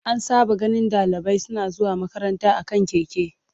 An saba ganin dalibai suna zuwa makaranta a kan keke.